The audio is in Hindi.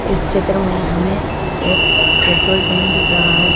इस चित्र मे हमें एक पेट्रोल टैंक दिख रहा है।